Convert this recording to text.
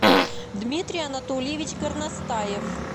дмитрий анатольевич горностаев